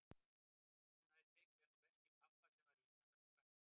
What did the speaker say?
Hún hafði tekið hann úr veski pabba sem var í innanverðum frakkavasanum.